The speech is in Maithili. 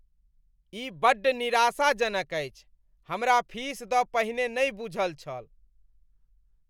ई बड्ड निराशाजनक अछि, हमरा फीस दऽ पहिने नहि बूझल छल।